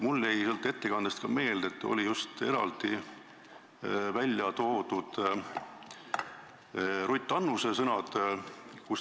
Mulle jäi ettekandest ka meelde, et seal olid eraldi välja toodud just Ruth Annuse sõnad.